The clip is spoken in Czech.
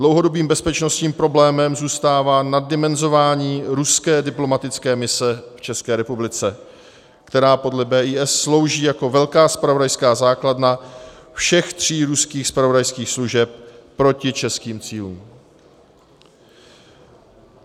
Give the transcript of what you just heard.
Dlouhodobým bezpečnostním problémem zůstává naddimenzování ruské diplomatické mise v České republice, která podle BIS slouží jako velká zpravodajská základna všech tří ruských zpravodajských služeb proti českým cílům.